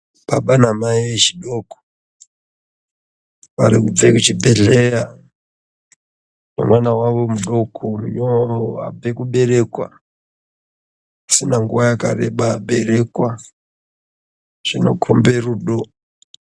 Baba namai echidoko, varikubve kuchibhedhleya nemwana wavo mudoko abve kuberekwa, asina nguva yakareba aberekwa. Zvinokombe rudo.